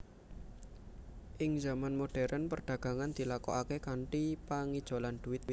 Ing zaman modhèrn perdagangan dilakokaké kanthi pangijolan dhuwit